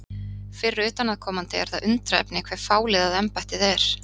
Fyrir utanaðkomandi er það undrunarefni hve fáliðað embættið er.